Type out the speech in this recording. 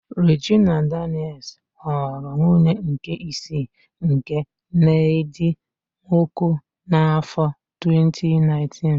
Rejina Danịels ghọrọ nwunye nke isii nke Nedị Nwoko n'áfọ 2019.